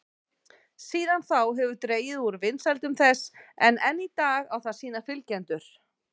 Síðan þá hefur dregið úr vinsældum þess en enn í dag á það sína fylgjendur.